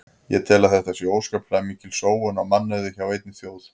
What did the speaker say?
Ég tel að þetta sé óskaplega mikil sóun á mannauði hjá einni þjóð.